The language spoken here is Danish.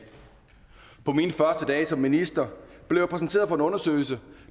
som minister blev jeg præsenteret for en undersøgelse